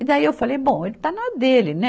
E daí eu falei, bom, ele está na dele, né?